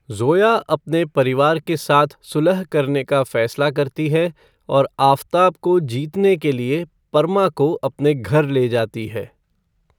ज़ोया अपने परिवार के साथ सुलह करने का फैसला करती है और आफ़ताब को जीतने के लिए परमा को अपने घर ले जाती है।